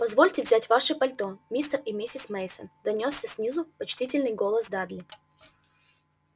позвольте взять ваши пальто мистер и миссис мейсон донёсся снизу почтительный голос дадли